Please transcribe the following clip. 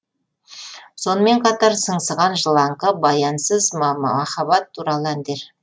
сонымен қатар сыңсыған жылаңқы баянсыз махаббат туралы әндер